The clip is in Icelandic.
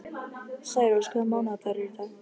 Særós, hvaða mánaðardagur er í dag?